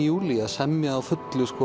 júlí að semja á fullu